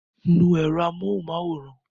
Nu èrò amóhunmáwòrán!